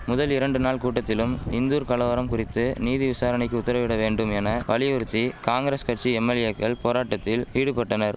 முதல் இரண்டு நாள் கூட்டத்திலும் இந்தூர் கலவரம் குறித்து நீதி விசாரணைக்கு உத்தரவிட வேண்டும் என வலியுறுத்தி காங்கிரஸ் கட்சி எம்எல்ஏக்கள் போராட்டத்தில் ஈடுபட்டனர்